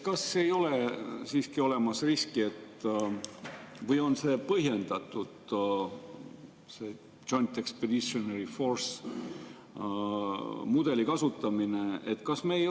Kas ei ole siiski olemas riski või kas on põhjendatud see Joint Expeditionary Force'i mudeli kasutamine?